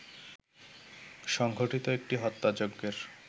সংঘটিত একটি হত্যাযজ্ঞের